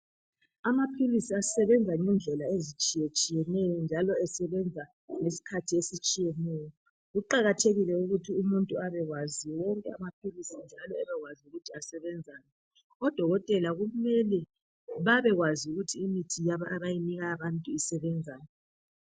Amaphilisi ayimhlobo etshiyeneyo njalo asebenza ngeskhathi ezitshiyeneyo , kuqathekile ukuthi umuntu abewazi ukuthi asebenzani odokotela kufuze babekwazi ukuthi imithi abayinika abantu isebenzani.